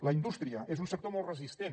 la indústria és un sector molt resistent